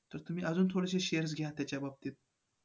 तर तुम्ही थोडेसे अजून shares घ्या त्याच्या बाबतीत